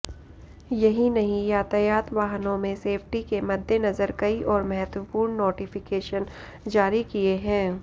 यहीं नहीं यातायात वाहनों में सेफ्टी के मद्देनजर कई और महत्वपूर्ण नोटिफिकेशन जारी किए है